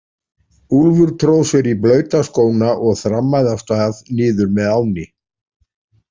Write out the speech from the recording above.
Úlfur tróð sér í blauta skóna og þrammaði af stað niður með ánni.